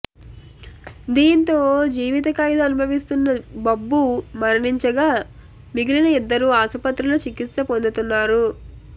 దీంతో జీవితఖైదు అనుభవిస్తున్న బబ్బు మరణించగా మిగిలిన ఇద్దరు ఆసుపత్రిలో చికిత్స పొందుతున్నారు